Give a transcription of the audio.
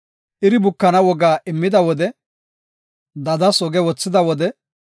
iri bukana woga immida wode, dadas oge wothida wode,